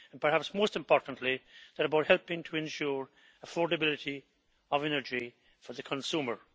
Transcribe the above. And perhaps most importantly, they are about helping to ensure affordability of energy for the consumer.